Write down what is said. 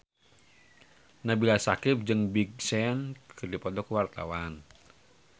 Nabila Syakieb jeung Big Sean keur dipoto ku wartawan